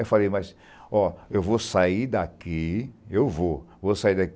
Eu falei, mas, ó, eu vou sair daqui, eu vou, vou sair